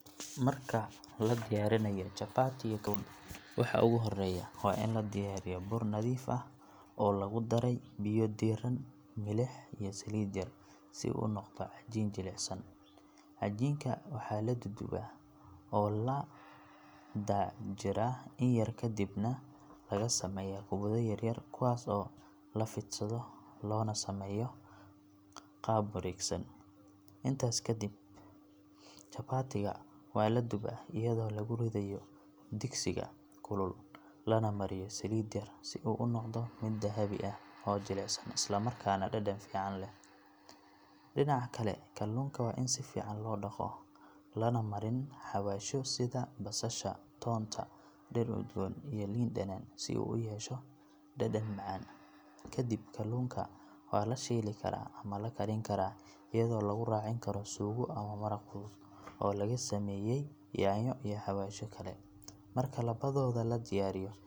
Marka la diyaariyo digaagga si wanaagsan oo nadaafad leh waa mid ka mid ah cuntooyinka ugu macaan uguna nafaqo badan ee lagu raaxaysto. Marka hore digaagga waa la nadiifiyaa ka dibna waa la jarjarayaa si fudud oo la cuni karo waxaana lagu karin karaa siyaabo kala duwan sida shiilid, dubid ama kariyo. Waxaa lagu xoojiyaa dhir udgoon iyo xawaashyo kala duwan si uu u yeesho dhadhan macaan iyo ur soo jiidasho leh. Marka la diyaariyo waxaa la dhigaa miiska oo lagu cuni karaa rooti, bariis ama canjeero iyadoo ay ka sii macaan tahay marka la raaciyo maraq